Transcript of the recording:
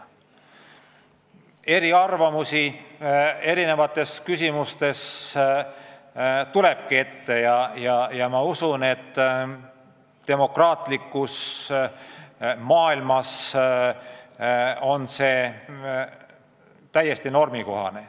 Eriarvamusi eri küsimustes tuleb ikka ette ja ma usun, et demokraatlikus maailmas on see täiesti normaalne.